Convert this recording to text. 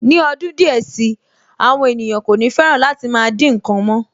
Ní ọdún díẹ̀ si, àwọn ènìyàn kò ní fẹ́ràn láti dín nǹkan mọ́